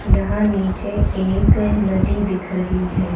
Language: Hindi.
यहां नीचे एक नदी दिख रही है।